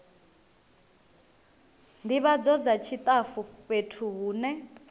ndivhadzo dza tshitafu fhethu hune